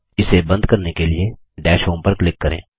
इसे बंद करने के लिए दश होम पर क्लिक करें